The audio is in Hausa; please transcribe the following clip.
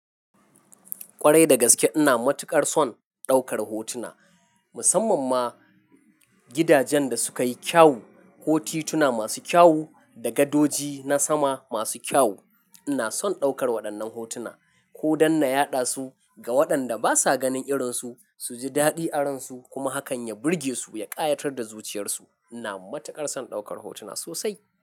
Kwarai da gaske ina matuƙar son ɗaukar hotuna. Musamman ma gidajen da suka yi kyau, ko tituna masu kyau, da gadoji na sama masu kyau. Ina son ɗaukar waɗannan hotuna ko dan na yaɗa su, ga waɗanda basa ganin irinsu, su ji daɗi aransu, kuma hakan ya burge su, ya ƙayatar da zuciyarsu. Ina matuƙar son ɗaukar hotuna sosai.